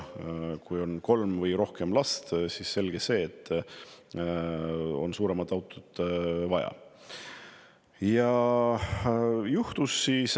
Kui on kolm või rohkem last, siis on selge, et on vaja suuremat autot.